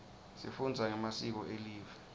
sifunza ngemasiko elive